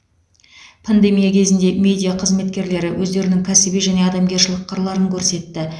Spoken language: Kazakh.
пандемия кезінде медина қызметкерлері өздерінің кәсіби және адамгершілік қырларын көрсетті